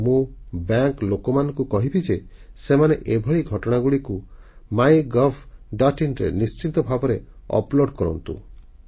କିନ୍ତୁ ମୁଁ ବ୍ୟାଙ୍କର ଲୋକମାନଙ୍କୁ କହିବି ଯେ ସେମାନେ ଏଭଳି ଘଟଣାଗୁଡ଼ିକୁ MyGovଆଇଏନ ରେ ନିଶ୍ଚିତ ଭାବେ ଅପ୍ଲୋଡ କରନ୍ତୁ